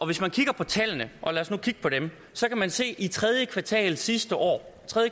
hvis man kigger på tallene og lad os nu kigge på dem så kan man se at i tredje kvartal sidste år